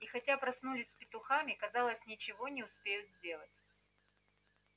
и хотя проснулись с петухами казалось ничего не успеют сделать